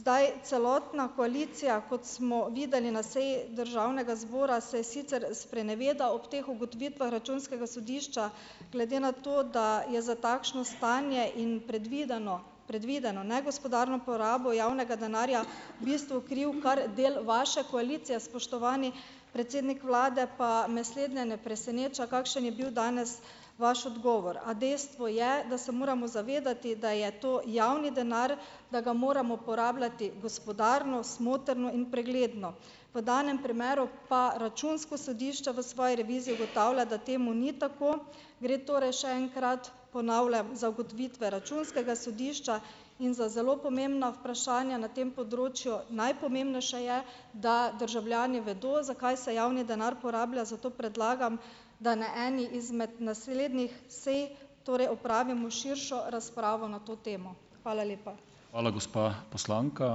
Zdaj, celotna koalicija, kot smo videli na seji državnega zbora, saj sicer spreneveda ob teh ugotovitvah Računskega sodišča. Glede na to, da je za takšno stanje in predvideno, predvideno negospodarno porabo javnega denarja v bistvu kriv kar del vaše koalicije, spoštovani predsednik vlade, pa me slednje ne preseneča, kakšen je bil danes vaš odgovor. A dejstvo je, da se moramo zavedati, da je to javni denar, da ga moramo porabljati gospodarno, smotrno in pregledno. V danem primeru pa Računsko sodišče v svoji reviziji ugotavlja , da temu ni tako. Gre torej še enkrat, ponavljam, za ugotovitve Računskega sodišča in za zelo pomembna vprašanja na tem področju. Najpomembnejše je, da državljani vedo, za kaj se javni denar porablja, zato predlagam, da ne eni izmed naslednjih sej torej opravimo širšo razpravo na to temo. Hvala lepa. Hvala, gospa poslanka.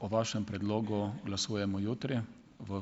O vašem predlogu glasujemo jutri v ...